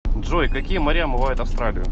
джой какие моря омывают австралию